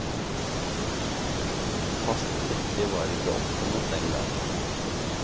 Fast dekke var ikke oppfunnet den gang.